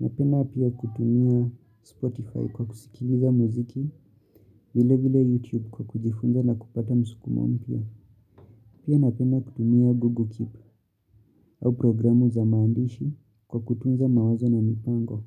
Napenda pia kutumia Spotify kwa kusikiliza muziki, vilevile YouTube kwa kujifunza na kupata msukumo mpya. Pia napenda kutumia Google Keep au programu za maandishi kwa kutunza mawazo na mipango.